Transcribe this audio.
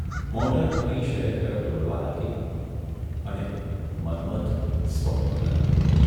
Motor ફરી શહેર તરફ દોડવા લાગી અને મન્મથ સ્વપ્નો તરફ !